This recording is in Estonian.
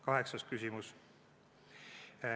Kaheksas küsimus.